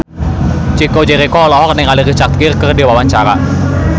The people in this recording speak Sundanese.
Chico Jericho olohok ningali Richard Gere keur diwawancara